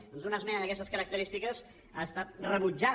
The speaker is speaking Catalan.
doncs una esmena d’aquestes característiques ha estat rebutjada